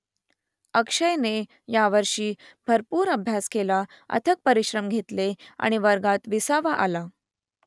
अक्षयने यावर्षी भरपूर अभ्यास केला अथक परिश्रम घेतले आणि वर्गात विसावा आला